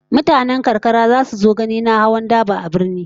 Mutanen karkara zasu so ganin na hawan daba a birni